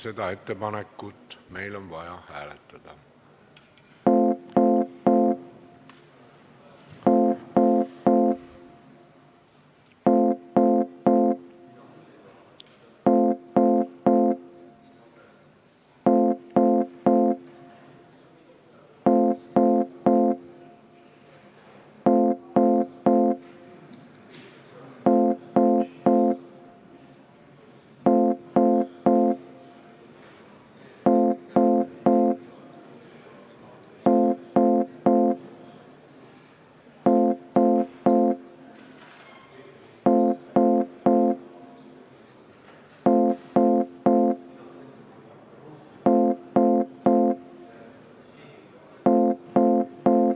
Seda ettepanekut on meil vaja hääletada.